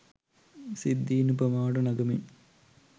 සිද්ධීන් උපමාවට නගමින්